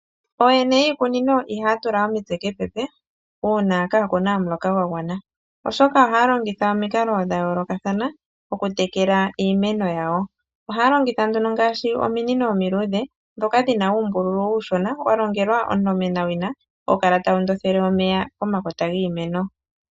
Ooyene yiikunino ihayatula omitse kepepe uuna kakuna omuloka gwagwana, oshoka ohayalongitha omikala dha yoolokathana okutekela iimeno yawo, ohayalongitha ominino omiluudhe ndhoka dhina uumbululu uushona dhalongelwa dhokundothela omeya pomakota giimeno.